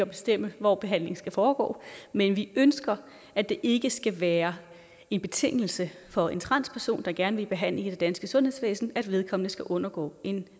bestemme hvor behandlingen skal foregå men vi ønsker at det ikke skal være en betingelse for en transperson der gerne vil i behandling i det danske sundhedsvæsen at vedkommende skal undergå en